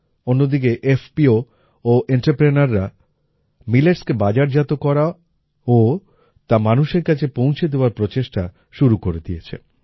অন্যদিকে এফপিও ও entrepreneurরা milletsকে বাজারজাত করা ও তা মানুষের কাছে পৌঁছে দেওয়ার প্রচেষ্টা শুরু করে দিয়েছে